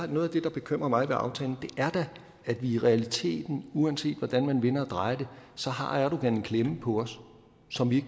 noget af det der bekymrer mig ved aftalen er da at i realiteten uanset hvordan man vender og drejer så har erdogan en klemme på os som vi